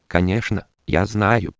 конечно я за